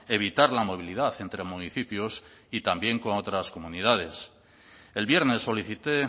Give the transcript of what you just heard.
evitar la movilidad entre municipios y también con otras comunidades el viernes solicité